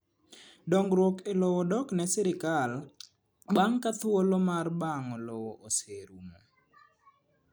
Dongruok e lowo dok ne sirkal bang’ ka thuolo mar bang'o lowo oserumo.